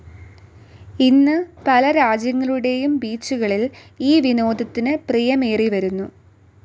ഇന്ന് പല രാജ്യങ്ങളുടേയും ബീച്ചുകളിൽ ഈ വിനോദത്തിനു പ്രിയമേറിവരുന്നു.